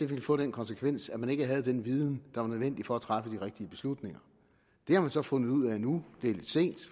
ville få den konsekvens at man ikke havde den viden der var nødvendig for at træffe de rigtige beslutninger det har man så fundet ud af nu det er lidt sent